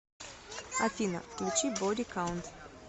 афина включи боди каунт